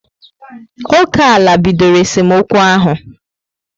Oké ala bidoro esemokwu ahụ